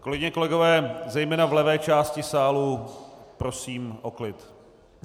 Kolegyně, kolegové, zejména v levé části sálu, prosím o klid.